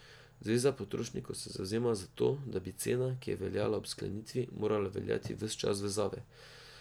Zveza potrošnikov se zavzema za to, da bi cena, ki je veljala ob sklenitvi, morala veljati ves čas vezave.